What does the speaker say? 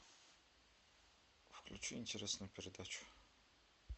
включи интересную передачу